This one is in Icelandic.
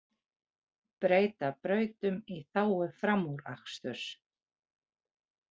Breyta brautum í þágu framúraksturs